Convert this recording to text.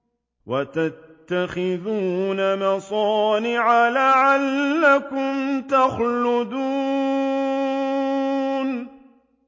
وَتَتَّخِذُونَ مَصَانِعَ لَعَلَّكُمْ تَخْلُدُونَ